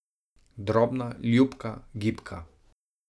Drobna, ljubka, gibka.